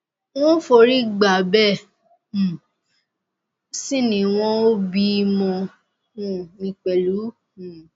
n ò forí gbá bẹẹ um sì ni wọn ò bí i mọ um mi pẹlú um